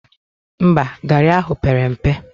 Mba, garị ahụ pere mpe